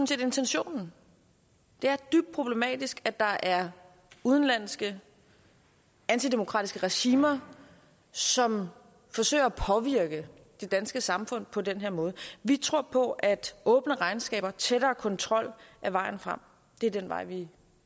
set intentionen det er dybt problematisk at der er udenlandske antidemokratiske regimer som forsøger at påvirke det danske samfund på den her måde vi tror på at åbne regnskaber tættere kontrol er vejen frem det er den vej vi